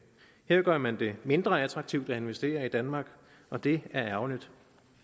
her gør man det mindre attraktivt at investere i danmark og det er ærgerligt